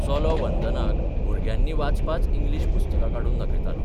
चलो वंदनाक भुरग्यांनी वाचपाच इंग्लीश पुस्तकां काडून दाखयतालो.